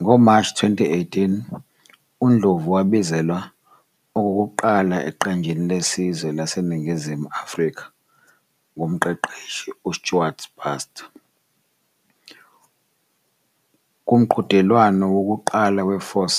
NgoMashi 2018, uNdlovu wabizelwa okokuqala eqenjini lesizwe laseNingizimu Afrika ngumqeqeshi uStuart Baxter kumqhudelwano wokuqala we-Four